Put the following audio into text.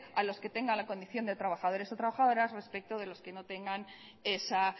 a los que tengan la condición de trabajadores o trabajadoras respecto de los que no tengan esa